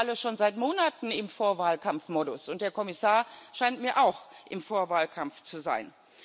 Wir sind doch alle schon seit Monaten im Vorwahlkampfmodus, und der Kommissar scheint mir auch im Vorwahlkampf zu sein.